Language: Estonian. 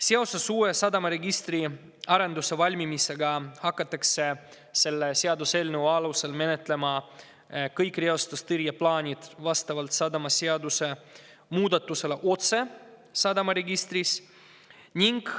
Seoses uue sadamaregistri arenduse valmimisega hakatakse selle seaduseelnõu alusel menetlema kõiki reostustõrje plaane vastavalt sadamaseaduse muudatusele otse sadamaregistris.